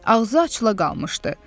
Ağzı açıla qalmışdı.